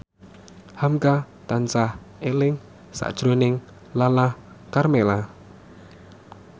hamka tansah eling sakjroning Lala Karmela